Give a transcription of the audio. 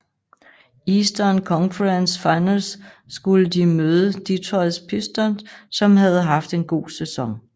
I Eastern Conference Finals skulle de møde Detroit Pistons som havde haft en god sæson